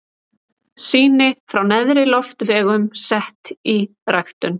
Sýni frá neðri loftvegum sett í ræktun.